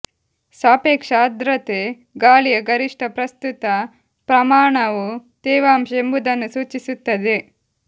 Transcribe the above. ಸಾಪೇಕ್ಷ ಆರ್ದ್ರತೆ ಗಾಳಿಯ ಗರಿಷ್ಠ ಪ್ರಸ್ತುತ ಪ್ರಮಾಣವು ತೇವಾಂಶ ಎಂಬುದನ್ನು ಸೂಚಿಸುತ್ತದೆ